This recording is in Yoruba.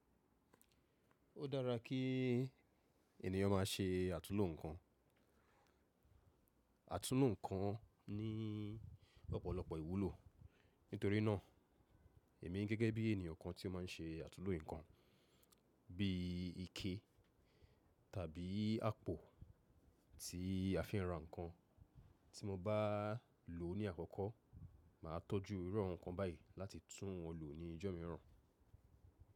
Ó dára kí ènìyàn má ṣe àtúnlo nǹkan. Àtúnlo nǹkan ní ọ̀pọ̀lọpọ̀ ìwúlò. Nítorínà, èmi gẹ́gẹ́ bí ènìyàn kan tí ó má ń ṣe àtúnlo nǹkan, bí ike tàbí àpò tí àfi ra nǹkan tí mo bá lò ní àkọ́kọ́, màá tọ́jú irú ọ̀hún kan báyìí láti tún wọn lò ní ọjọ́ mìíràn.